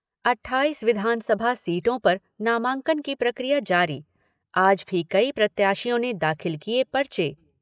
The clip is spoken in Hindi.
अट्ठाइस विधानसभा सीटों पर नामांकन की प्रक्रिया जारी, आज भी कई प्रत्याशियों ने दाखिल किए पर्चे।